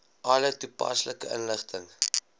alle toepaslike inligting